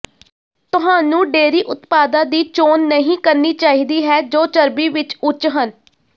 ਤੁਹਾਨੂੰ ਡੇਅਰੀ ਉਤਪਾਦਾਂ ਦੀ ਚੋਣ ਨਹੀਂ ਕਰਨੀ ਚਾਹੀਦੀ ਹੈ ਜੋ ਚਰਬੀ ਵਿੱਚ ਉੱਚ ਹਨ